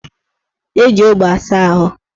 Eji ogbo asa ahụ